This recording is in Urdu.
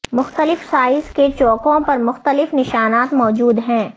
مختلف سائز کے چوکوں پر مختلف نشانات موجود ہیں